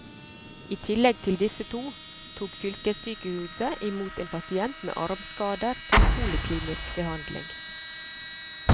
I tillegg til disse to tok fylkessykehuset i mot en pasient med armskader til poliklinisk behandling.